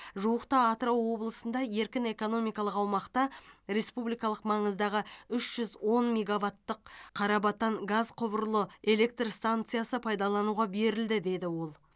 жуықта атырау облысында еркін экономикалық аумақта республикалық маңыздағы үш жүз он мегаваттық қарабатан газ құбырлы электр станциясы пайдалануға берілді деді ол